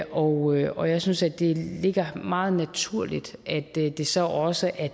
og og jeg synes at det ligger meget naturligt at det det så også er